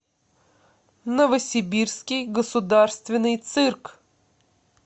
новосибирский государственный цирк